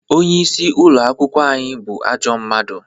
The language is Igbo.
Onye isi ụlọ akwụkwọ anyị bụ ajọ mmadụ